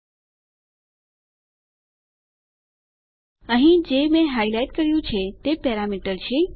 મેં જે અહીં હાઈલાઈટ કર્યું છે તે પેરામીટર છે